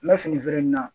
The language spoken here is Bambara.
N bɛ fini feere in na